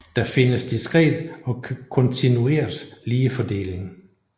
Der findes diskret og kontinuert ligefordeling